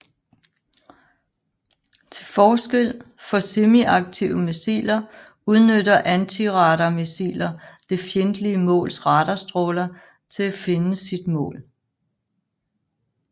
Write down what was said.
Til forskel fra semiaktive missiler udnytter antiradarmissiler det fjendtlige måls radarstråler til finde sit mål